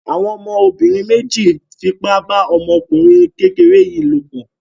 Àwọn ọmọbìnrin méjì fipá bá ọmọkùnrin kékeré yìí lòpọ̀.